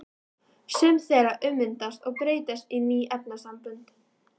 Sum þeirra ummyndast og breytast í ný efnasambönd.